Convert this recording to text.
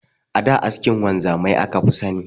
A da askin wanzamai aka fi sani.